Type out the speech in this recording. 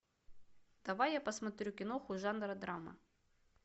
давай я посмотрю киноху жанра драма